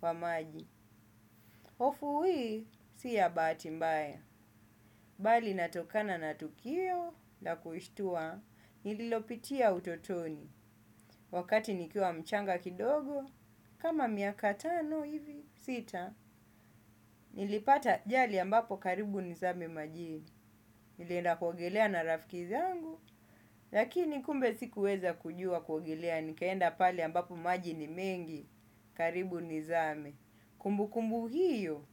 wa maji". Hofu hii si yabati mbaya, bali inatokana na tukio la kushitua, nililopitia utotoni. Wakati nikiwa mchanga kidogo, kama miaka tano hivi sita, nilipata ajali ambapo karibu nizame majini, nilienda kuogelea na rafikizi angu, lakini kumbe sikuweza kujua kuogelea, nikaenda pale ambapo maji ni mengi karibu nizame. Kumbu kumbu hiyo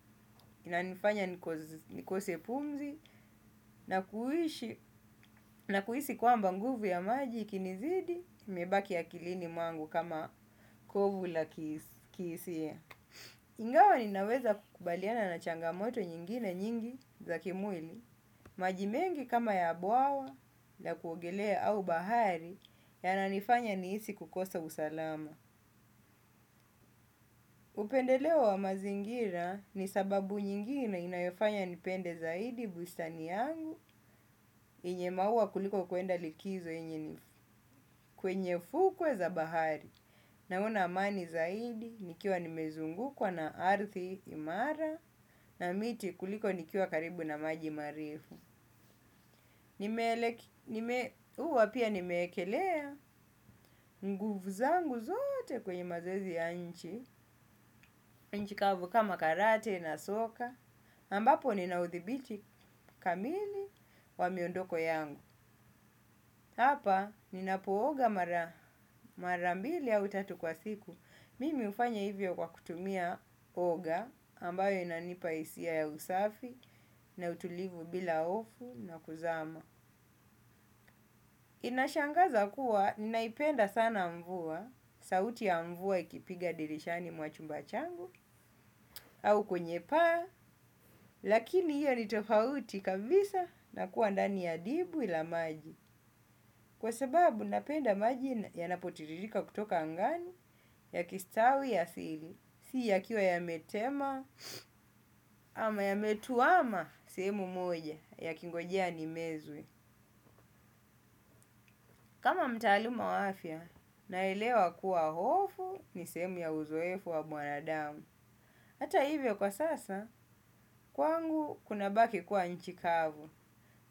inanifanya nikose pumzi, na kui na kuhisi kwamba nguvu ya maji ikinizidi, imebaki akilini mwangu kama kovu la kihisia. Ingawa ninaweza kukubaliana na changamoto nyingine nyingi za kimwili, maji mengi kama ya abwa wa la kuogelea au bahari yananifanya nihisi kukosa usalama. Upendeleo wa mazingira ni sababu nyingine inayofanya nipende zaidi bustani yangu yenye maua kuliko kwenda likizo yenye ni kwenye fukwe za bahari. Naona amani zaidi nikiwa nimezungukwa na ardhi imara na miti kuliko nikiwa karibu na maji marefu. Nimeelekea, huwa pia nimewekelea nguvu zangu zote kwenye mazezi ya nje. Nchi kavu kama karate na soka ambapo nina udhibiti kamili wa miondoko yangu. Hapa ninapooga mara mbili au tatu kwa siku, mimi hufanya hivyo kwa kutumia kuoga ambayo inanipa hisia ya usafi na utulivu bila hofu na kuzama inashangaza kuwa ninaipenda sana mvua. Sauti ya mvua ikipiga dirishani mwa chumba changu. Au kwenye paa. Lakini hiyo ni tofauti kabisa na kuwa ndani ya dimbwi la maji. Kwa sababu napenda maji yanapotiririka kutoka angani, yakistawi asili. Si yakiwa yametema ama yametuama sehemu moja yakingojea nimezwe. Kama mtaaluma wafya, naelewa kuwa hofu ni sehemu ya uzoefu wa mwanadamu. Hata hivyo kwa sasa, kwangu kuna baki kuwa nchi kavu.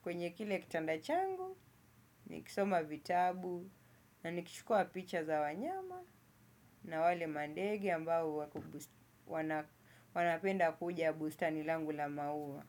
Kwenye kile kitanda changu, nikisoma vitabu, na nikichukua picha za wanyama na wale mandege ambao wako, wanapenda kuja bustani langu la maua.